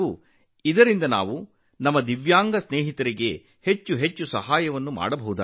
ಇದರೊಂದಿಗೆ ನಮ್ಮ ವಿಶೇಷ ಚೇತನ ಸ್ನೇಹಿತರಿಗೆ ನಾವು ಹೆಚ್ಚು ಹೆಚ್ಚು ಸಹಾಯ ಮಾಡಲು ಸಾಧ್ಯವಾಗುತ್ತದೆ